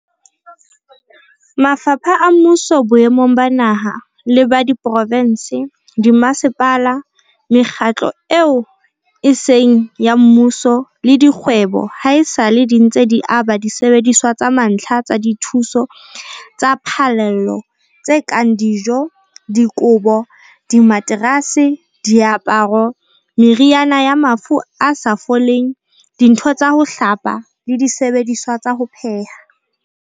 Mafapha a mmuso boemong ba naha le ba diprovense, dimmasepala, mekgatlo eo e seng ya mmuso le dikgwebo, haesale di ntse di aba disebediswa tsa mantlha tsa dithuso tsa phallelo tse kang dijo, dikobo, dimaterase, diaparo, meriana ya mafu a sa foleng, dintho tsa ho hlapa le disebediswa tsa ho pheha.